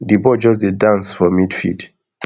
di ball just dey dance for midfield